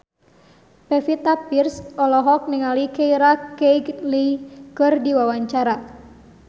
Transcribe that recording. Pevita Pearce olohok ningali Keira Knightley keur diwawancara